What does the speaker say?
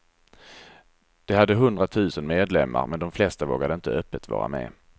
Det hade hundratusen medlemmar, men de flesta vågade inte öppet vara med.